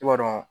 I b'a dɔn